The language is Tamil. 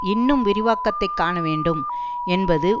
இன்னும் விரிவாக்கத்தை காண வேண்டும் என்பது